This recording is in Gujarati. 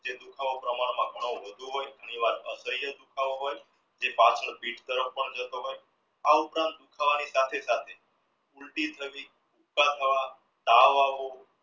એ દુખાવો પ્રમાણમાં ઘણો વધુ હોઈ જે પાછળ પીઠ તરફ પણ જતો હોય થવાની સાથે સાથે ઊલટી થવી ઊબકા આવવા તાવ થવો